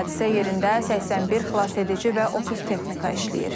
Hadisə yerində 81 xilasedici və 30 texnika işləyir.